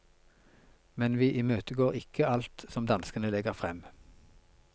Men vi imøtegår ikke alt som danskene legger frem.